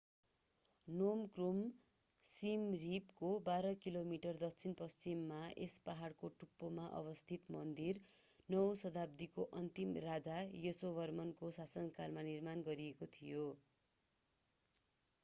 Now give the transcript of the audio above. नोम Krom सिम रिपको 12 kilometre दक्षिण पश्चिममा यस पहाडको टुप्पोमा अवस्थित मन्दिर 9 औँ शताब्दीको अन्तमा राजा यासोवर्मनको शासनकालमा निर्माण गरिएको थियो